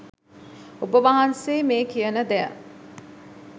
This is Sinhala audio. ඔබ වහන්සේ මේ කියන දෙය